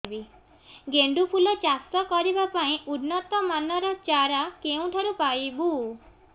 ଗେଣ୍ଡୁ ଫୁଲ ଚାଷ କରିବା ପାଇଁ ଉନ୍ନତ ମାନର ଚାରା କେଉଁଠାରୁ ପାଇବୁ